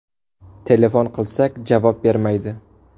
Telefon qilsak, javob bermaydi.